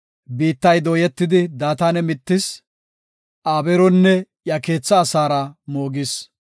Biittay dooyetidi Daatane mittis; Abeero iya keetha asaara moogis.